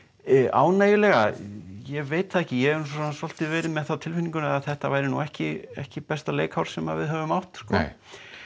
ánægjulega ég veit það ekki ég hef svolítið verið með það á tilfinningunni að þetta væri nú ekki ekki besta leikár sem við höfum átt nei